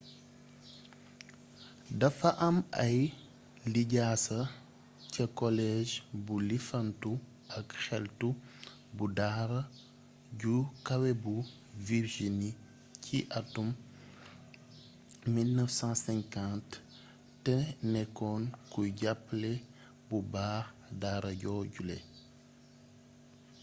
dafa am ay lijjasa ca college bu lifantu ak xeltu bu daara ju kawe bu virgini ci atum 1950 te nekkoon kuy jàppale bu baax daara joojule